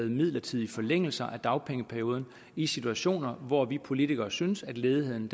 midlertidige forlængelser af dagpengeperioden i situationer hvor vi politikere syntes at ledigheden